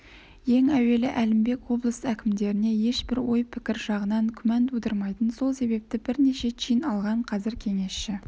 ең әуелі әлімбек облыс әкімдеріне ешбір ой пікір жағынан күмән тудырмайтын сол себепті бірнеше чин алған қазір кеңесші